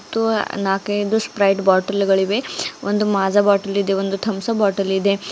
ಮತ್ತು ನಾಲ್ಕೈದು Sprite bottle ಗಳಿವೆ ಒಂದು ಮಾಝ ಬಾಟಲ್ ಇದೆ ಒಂದು ತಂಬ್ಸಪ್ ಬಾಟಲ್ ಇದೆ.